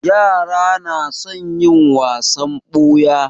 Yara na son yin wasan ɓuya.